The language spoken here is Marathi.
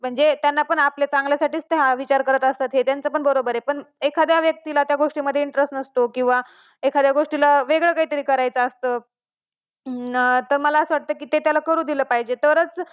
मुलगी ही दोन्ही घरी जोडणारी असते जसा हा मुलगा वंशाचा दिवा तो तशी वर्षाची वंशाचा दिवा पनती ती अशी समजली जाते.